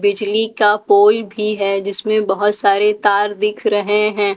बिजली का पोल भी है जिसमे बहुत सारे तार दिख रहे है।